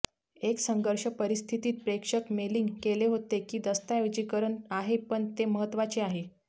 एक संघर्ष परिस्थितीत प्रेषक मेलिंग केले होते की दस्तऐवजीकरण आहे पण हे महत्वाचे आहे